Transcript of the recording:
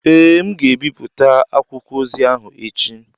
Ee, m ga-ebipụta akwụkwọ ozi ahụ echi.